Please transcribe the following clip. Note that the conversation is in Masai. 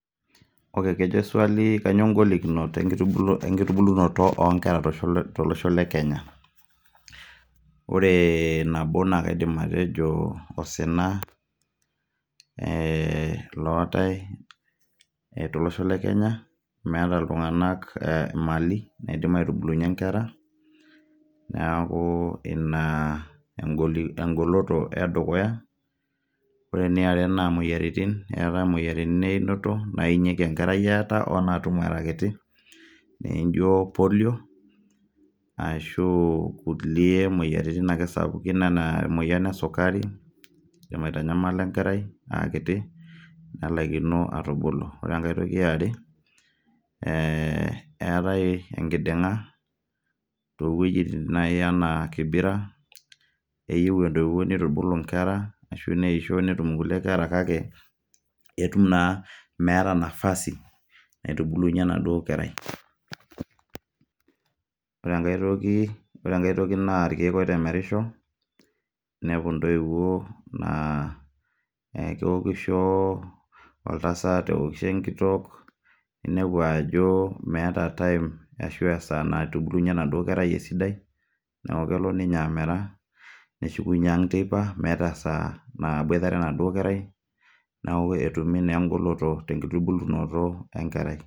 ore kejo swali, kanyioo ngolikinot enkitubulunot onkera tolosho le kenya . ore nabo naa kaidim atejo osina ,ee lootae tolosho le kenya , meeta iltunganak mali naidim aitubulunyie inkera niaku ina engoloto edukuya. ore eniare naa moyiaritin , eetae imoyiaritin einoto , nainyieki enkerai eeta oonaatum era kiti ,naijo polio ashu kulie moyiaritin sapukin anaaemoyian esukari, kidim aitanyamala enkerai aa kiti nelaikino atubulu. ore enkae toki eare ee eetae enkidinga towuejitin naji anaa kibira , neyieu entoiwuoi nitubulu inkera ashu neisho netum inkulie kera kake etum naa meeta nafasi naitubulunyie enaduo kerai. ore enkae toki naa irkieek oitemerisho ,inepu intoiwuo naa keokisho oltasat , neokisho enkitok , ninepu ajomeeta time ashuaa esaa naitubulunyie enaduoo kerai sida. niaku kelo ninye amera neshukunyie ang teipa meeta esaa naboitare enaduoo kerai neaku ketumi naa engoloto te kitubulunoto enkerai.